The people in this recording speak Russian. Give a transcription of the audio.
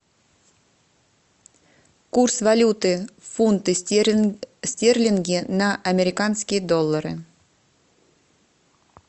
курс валюты фунты стерлинги на американские доллары